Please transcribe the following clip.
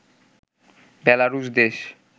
বেলারুশ দেশ